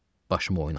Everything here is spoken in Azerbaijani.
Başımı oynatdı.